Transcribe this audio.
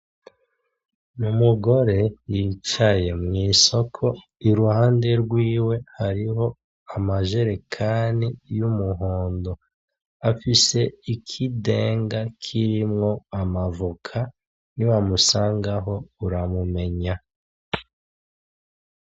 Umugore yicaye mw'isoko, iruhande rwiwe hariho amajerekani y'umuhondo. Afise ikidenga kirimwo amavoka, niwamusangaho, uramumenya.